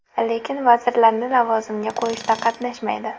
Lekin vazirlarni lavozimga qo‘yishda qatnashmaydi.